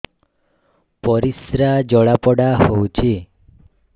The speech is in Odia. ପରିସ୍ରା ଜଳାପୋଡା ହଉଛି